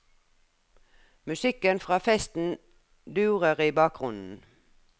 Musikken fra festen durer i bakgrunnen.